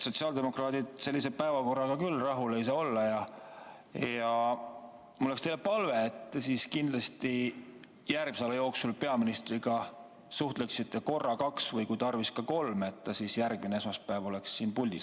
Sotsiaaldemokraadid sellise päevakorraga küll rahul ei saa olla ja mul on teile palve, et te kindlasti enne järgmise nädala päevakorra koostamist peaministriga suhtleksite korra, kaks või kui tarvis, ka kolm, et ta siis järgmine esmaspäev oleks siin puldis.